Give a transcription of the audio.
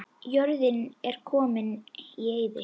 Jörðin er komin í eyði.